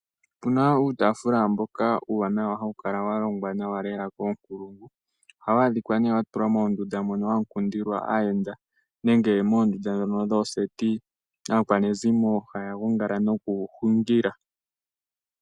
Opuna uutafula mboka uuwanawa, mbono hawu kala walongwa nawa koonkulungu, oha waadhika watulwa moondunda moka humu kundilwa aayenda nenge moondunda dhooseti mono aakwanizimo haagongala noku hungila.